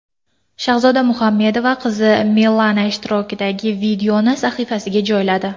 Shahzoda Muhammedova qizi Milana ishtirokidagi videoni sahifasiga joyladi.